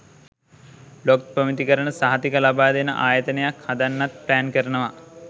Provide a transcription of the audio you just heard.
blog ප්‍රමිතිකරණ සහතික ලබාදෙන ආයතනයක් හදන්නත් ප්ලෑන් කරනවා